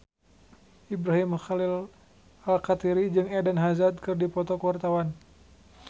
Ibrahim Khalil Alkatiri jeung Eden Hazard keur dipoto ku wartawan